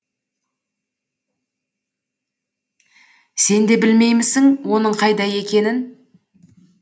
сен де білмеймісің оның қайда екенін